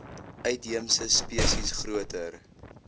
uitheemse spesies groter